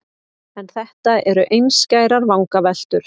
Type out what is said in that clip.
En þetta eru einskærar vangaveltur.